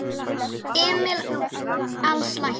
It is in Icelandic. Emil Als læknir.